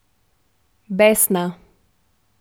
Besna.